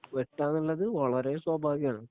വെട്ടുവാന്നുള്ളത് വളരെ സ്വാഭാവികമാണ്.